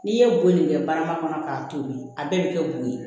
N'i ye bon nin kɛ barama kɔnɔ k'a tobi a bɛɛ bɛ kɛ bo ye